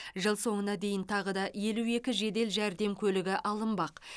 жыл соңына дейін тағы да елу екі жедел жәрдем көлігі алынбақ